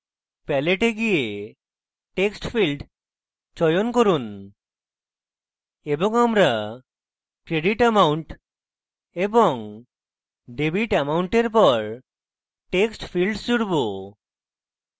palette we গিয়ে textfield চয়ন করুন এবং আমরা credit amount এবং debit amount এর পর text fields জুড়ব